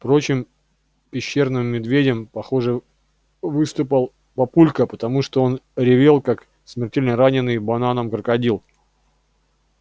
впрочем пещерным медведем похоже выступал папулька потому что он ревел как смертельно раненый бананом крокодил